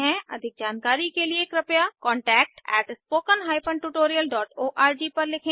अधिक जानकारी के लिए कृपया contact at spoken hyphen tutorial dot ORG पर लिखें